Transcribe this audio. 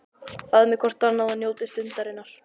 Faðmið hvort annað og njótið stundarinnar.